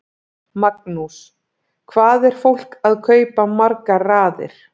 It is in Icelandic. Magnús: Hvað er fólk að kaupa margar raðir?